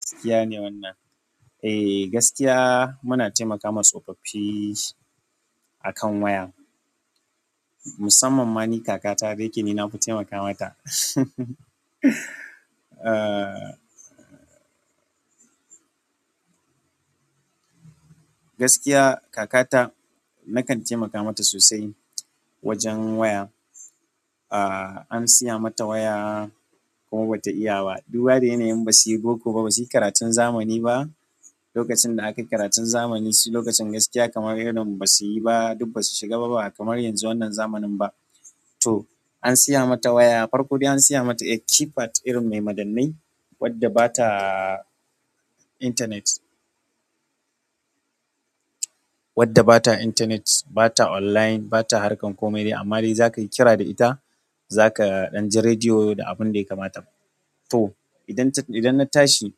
Gaskiya ne wannan. Eh, gaskiya muna taimakawa tsofaffi akan waya. Musamman ma ni kakata da yake ni nafi taimaka mata. Eh, gaskiya kakata nakan taimaka mata sosai wajen waya. An siya mata waya. Duba da yanayin basu yi karatu ba basu yi boko ba. Lokacin da aka yi karatun zamani, su lokacin gaskiya kamar irin ba su yi ba. Duk basu shiga ba ba kamar yanzu wannan zamanin ba. To an siya mata waya, farko dai an siya mata keypad irin mai madannai wadda ba ta internet. Wadda bata intanet, bata online, bata harkar komai. Amma dai za ka yi kira da ita, za ka ɗan ji rediyo da abun da ya kamata. To idan, idan na tashi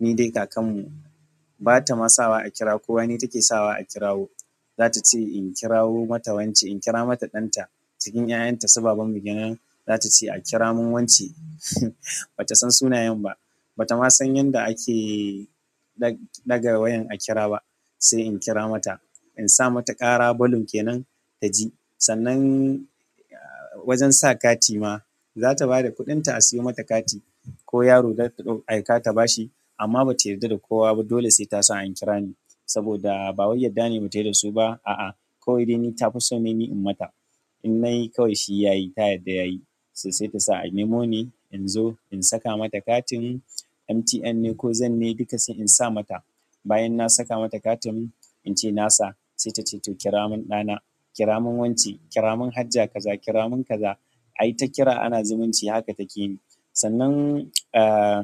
ni dai kakan mu bata ma sawa a kira kowa ni take sawa a kirawo. Za ta ce in kirawo mata wance, in kira mata ɗanta cikin ƴaƴanta suba banbanmu ke nan. Za ta ce a kira mun wance. Bata san sunayen ba, bata ma san yanda ake ɗaga wayan a kira ba. Sai in kira mata, in sa mata ƙara balun kenan ta ji. Sannan wajen sa kati ma, za ta bada kuɗinta a sayo mata kati ko yaro ai ka ta bashi. Amma bata yarda da kowa ba. Dole sai ta sa an kira ni saboda ba wai adda ne bata yi da su ba, a'a. Kawai dai ni ta fi so ne ni in mata. In nayi kawai shi yayi, ta yarda yayi. So sai ta sa a nemo ni in zo in saka mata katin MTN ne ko Zen ne, duka sai in sa mata. Bayan na saka mata katin in ce na sa, sai ta ce to kira mun ɗana, kira mun wance, kira mun Hajja kaza, kira mun kaza. Ai ta kira ana zumunci haka take yi. Sannan, ah,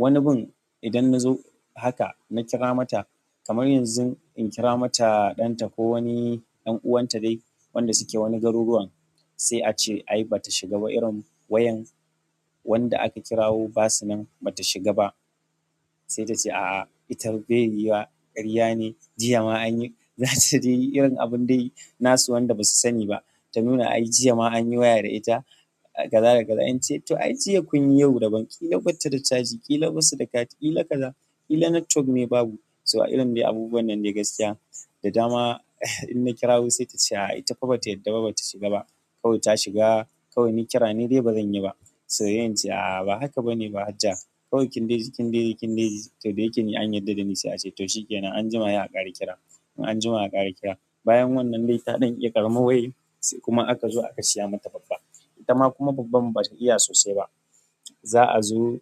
wani gun idan na zo haka na kira mata kamar yanzu in kira mata ɗanta ko wani ƴan uwanta dai wanda suke wani garuruwan sai a ce ai bata shiga ba irin wayan wanda aka kirawo basu nan bata shiga ba. Sai ta ce a'a ita bai yuwa, ƙarya ne. Jiya ma anyi. Za ta dai yi irin abun dai nasu wanda ba su sani ba. Ta nuna ai jiya ma anyi waya da ita, kaza da kaza. In ce to ai jiya kun yi, yau daban ƙila bata da caji, ƙila basu da kati, ƙila kaza, ƙila network ne babu. So irin dai abubuwan nan dai gaskiya. Da dama, in na kirawo sai ta ce a'a ita fa bata yarda ba bata shiga ba. Kawai ta shiga, kawai ni kira ni dai bazan yi ba. To sai in ce a'a ba haka bane hajja. Kawai kin dai ji, kin dai, kin dai ji to da yake ni an yarda da ni sai a ce to shi ke nan an jima ye a ƙara kira. An jima a ƙara kira. Bayan wannan dai ta ɗan iya karam mawan sai kuma aka zo aka siya mata babba. Ita ma kuma babban bata iya sosai ba. Za a zo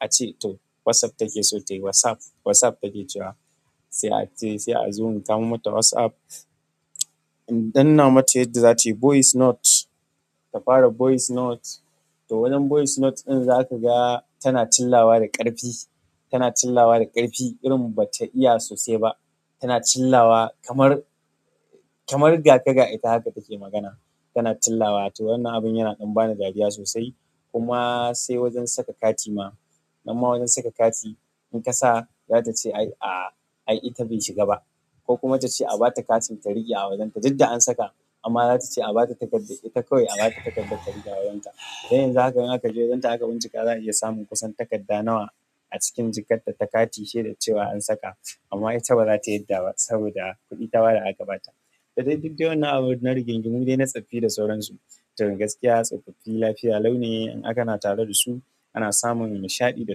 a ce to WhatsApp take so tayi. WhatsApp. WhatsApp take cewa. Sai a ce sai a zo mu samo mata WhatsApp. In danna mata yadda zata yi voice note, ta fara voice note. To wajen voice note ɗin za ka ga tana chillawa da ƙarfi, tana chillawa da ƙarfi irin bata iya sosai ba. Tana chillawa kamar, kamar gaka ga ita haka take magana. Tana chillawa. To wannan abun yana ɗan bani dariya sosai. Kuma sai wajen saka kati ma, nan ma wajen saka kati in ka sa za ta ce ai a'a ai ita bai shiga ba. Ko kuma ta ce a bata kati ta riƙe a wajen ta. Duk da an saka amma za ta ce a ba ta takarda ita kawai a ba ta takarda ta riƙe a wajen ta. Sai yanzu haka in aka je wajen ta aka bincika za a iya samun kusan takarda nawa a cikin jikar ta ta kati shaidar cewa an saka amma ita ba zata yarda ba saboda kuɗi ta bada aka ba ta. Da dai duk waennan abun na rigingimu dai na tsafi da sauransu, gaskiya tsoffafi lafiya lau ne in har kana tare da su. Ana samun nishaɗi da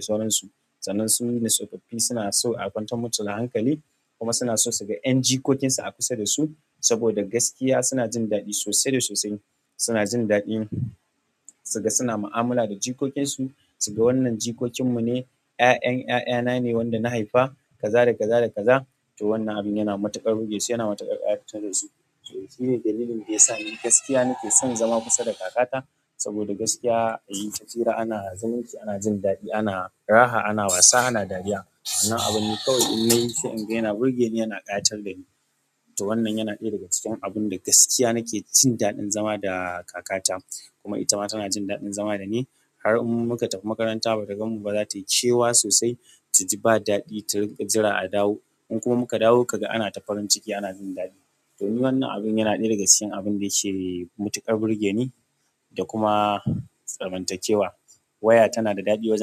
sauransu. Sannan su ne tsofaffi suna so a kwantar musu da hankali kuma suna so su ga ƴan jikokinsa a kusa da su. Saboda gaskiya suna jin daɗi sosai da sosai. Suna jin daɗin suga suna mu'amala da jikokinsu. Suga wannan jikokin mu ne, 'ya'ƴan 'ya'yana ne wanda na haifa kaza da kaza da kaza. To wannan abun yana matuƙar burge su yana matuƙar ƙayatar da su. Shi ne dalilin da ya sa ni gaskiya nake son zama kusa da kakata. Saboda gaskiya ayi ta hira ana zumunci, ana jin daɗi, ana raha, ana wasa, ana dariya. Wannan abun ne kawai in nayi sai in ga yana burge ni yana ƙayatar da ni. To wannan yana ɗaya daga cikin abun da gaskiya nake jin daɗin zama da kakata. Kuma ita ma tana jin daɗin zama da ni. Har in muka tafi makaranta bata gan mu ba za ta yi ƙewa sosai. Ta ji ba daɗi, ta ringa jira a dawo. In kuma muka dawo kaga ana ta farinciki, ana jin daɗi. To ni wannan abun yana ɗaya daga cikin abin da yake matuƙar burge ni da kuma zamantakewa. Waya tanada daɗi wajen.